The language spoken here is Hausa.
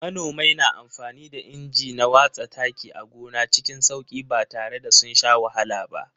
Manomai na amfani da inji na watsa taki a gona cikin sauki ba tare da sun sha wahala ba.